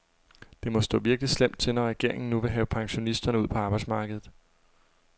Det må stå virkelig slemt til, når regeringen nu vil have pensionisterne ud på arbejdsmarkedet.